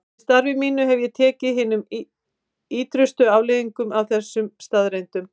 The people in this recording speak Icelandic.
Í starfi mínu hef ég tekið hinum ýtrustu afleiðingum af þessum staðreyndum.